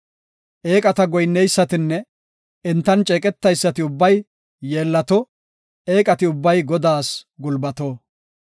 Eeqata goyinneysatinne entan ceeqeteysati ubbay yeellato; eeqati ubbay Godaas gulbato.